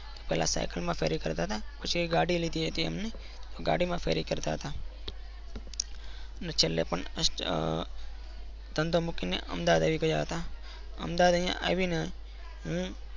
પહેલા સાઇકલ કરતા હતા. પછી ગાડી લીધી હતીન એમને. ગાડી માં ફેરી કરતા હતા અર અને છેલ્લે પણ ધંધો મુકીને અમાડાવી ગયા હતા. અમદાવાદ આવી ને હમ